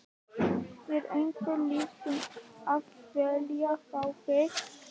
Er einhver lið sem að vilja fá þig?